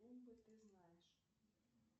ты знаешь